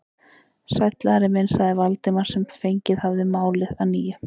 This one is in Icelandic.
Sæll, Ari minn sagði Valdimar sem fengið hafði málið að nýju.